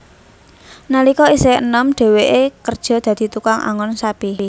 Nalika isih enom dheweke kerja dadi tukang angon sapi